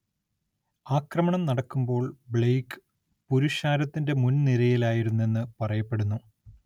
ആക്രമണം നടക്കുമ്പോൾ ബ്ലെയ്ക്ക് പുരുഷാരത്തിന്റെ മുൻനിരയിലായിരുന്നെന്ന് പറയപ്പെടുന്നു.